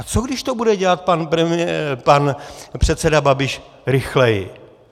A co když to bude dělat pan předseda Babiš rychleji?